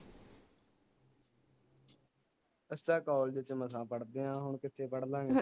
ਅਸਾਂ college ਚ ਮਸਾ ਪੜ੍ਹਦੇ ਆ ਹੁਣ ਕਿਥੇ ਪੜ੍ਹ ਲਾ ਗੇ